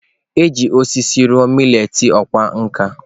E ji osisi rụọ maleetị ọkwá nkà.